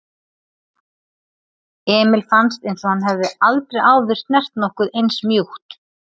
Emil fannst einsog hann hefði aldrei áður snert nokkuð eins mjúkt.